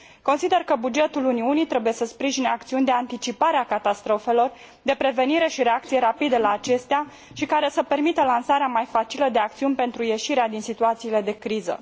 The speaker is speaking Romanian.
Consider că bugetul Uniunii trebuie să sprijine acțiuni de anticipare a catastrofelor, de prevenire și reacție rapidă la acestea și care să permită lansarea mai facilă de acțiuni pentru ieșirea din situațiile de criză.